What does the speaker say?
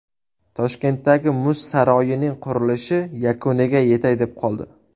Toshkentdagi muz saroyining qurilishi yakuniga yetay deb qoldi.